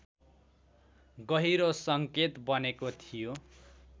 गहिरो सङ्केत बनेको थियो